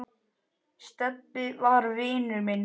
Stebbi var vinur minn.